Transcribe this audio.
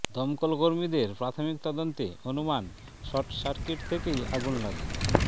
দমকল কর্মীদের প্রাথমিক তদন্তে অনুমান শর্ট সার্কিট থেকেই আগুন লাগে